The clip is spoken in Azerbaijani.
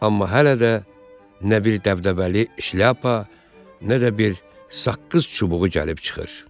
Amma hələ də nə bir dəbdəbəli şlyapa, nə də bir saqqız çubuğu gəlib çıxır.